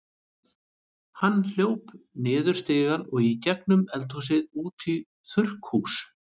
Hann hljóp niður stigann og í gegnum eldhúsið út í þurrkhús.